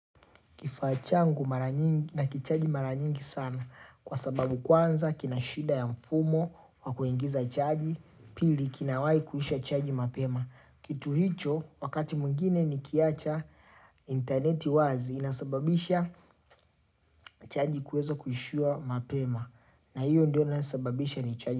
Kifaa changu mara nyingi nakichaji mara nyingi sana kwa sababu kwanza kina shida ya mfumo wa kuingiza chaji pili kinawahi kuisha chaji mapema. Kitu hicho wakati mwingine nikiacha inteneti wazi inasababisha chaji kueza kuisha mapema na hiyo ndio inayosababisha nichaji.